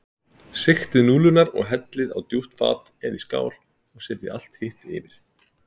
Sigtið núðlurnar og hellið á djúpt fat eða í skál og setjið allt hitt yfir.